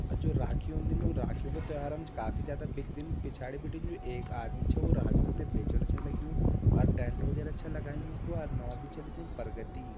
अर जु राखी होंदी न वो राखियों क त्योहारम जु काफी ज्यादा बिकदिन। पिछाड़ि बिटिन जु एक आदमी छ उ राखियों ते बेचण छ लग्यूं और टेंट वगेरा छ लगायूं कु अर नौ बि छ लिख्युं परगति ।